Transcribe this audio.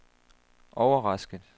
overrasket